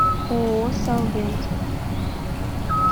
ооо салвент